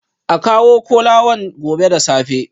A kawo kolawan gobe da safe